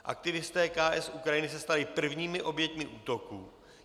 Aktivisté KS Ukrajiny se stali prvními oběťmi útoků.